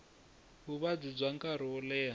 vuvabyi bya nkarhi lowo leha